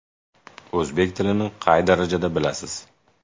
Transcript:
O‘zbek tilini qay darajada bilasiz?